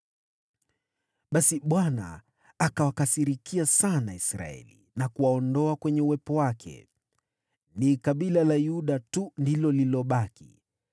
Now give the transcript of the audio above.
Basi Bwana akawakasirikia sana Israeli na kuwaondoa kwenye uwepo wake. Ni kabila la Yuda tu lililobaki;